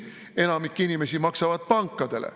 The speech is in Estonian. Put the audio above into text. Enamik inimesi maksab pankadele.